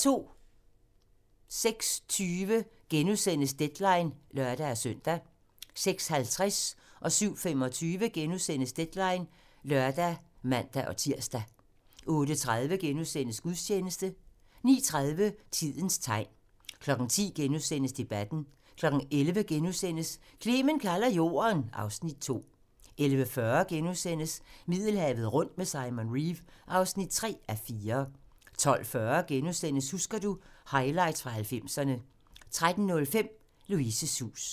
06:20: Deadline *(lør-søn) 06:50: Deadline *(lør og man-tir) 07:25: Deadline *(lør og man-tir) 08:30: Gudstjeneste * 09:30: Tidens tegn 10:00: Debatten * 11:00: Clement kalder Jorden (Afs. 2)* 11:40: Middelhavet rundt med Simon Reeve (3:4)* 12:40: Husker du - Highlights fra 90'erne * 13:05: Louises hus